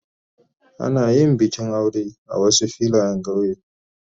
Ana yin bikin aure a Wasu Filayen kauye.